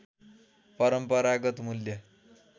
परम्परागत मूल्य